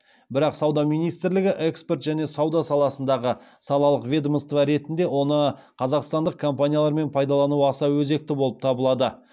бірақ сауда министрлігі экспорт және сауда саласындағы салалық ведомство ретінде оны қазақстандық компаниялармен пайдалану аса өзекті болып табылады